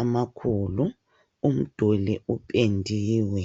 amakhulu umduli upendiwe.